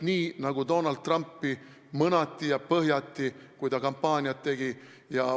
Ka Donald Trumpi mõnati ja põhjati, kui ta kampaaniat tegi.